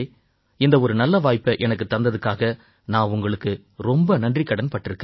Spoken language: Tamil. இந்த ஒரு நல்வாய்ப்பை எனக்குத் தந்ததுக்காக நான் உங்களுக்கு ரொம்ப நன்றிக்கடன்பட்டிருக்கேன்